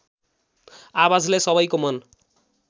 आवाजले सबैको मन